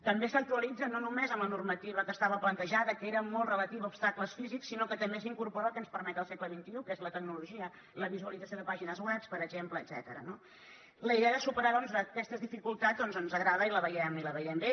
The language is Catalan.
també s’actualitza no només amb la normativa que estava plantejada que era molt relativa a obstacles físics sinó que també s’incorpora el que ens permet el segle xxi que és la tecnologia la visualització de pàgines web per exemple etcètera no la idea de superar doncs aquestes dificultats ens agrada i la veiem bé